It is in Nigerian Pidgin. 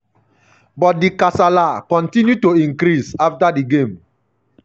but di kasala kotinu to increase afta di game.